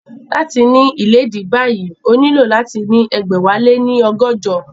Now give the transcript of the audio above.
Láti ní ìléèdí báyìí, o nílò láti ní ẹgbẹ̀wáléní ọgọ́jọ